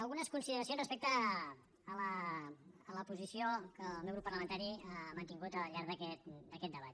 algunes consideracions respecte a la posició que el meu grup parlamentari ha mantingut al llarg d’aquest debat